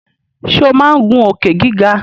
Ṣe o má ngun Òkè-gíga.